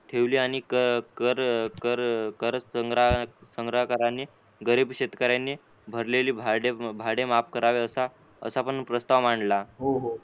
ठेवली आणि कर कर कर कर संग्रा संग्राकरणी गरीब शेट कार्याण भरलेली भाडे माफ करावी असा असा पण प्रस्ताव मांडला.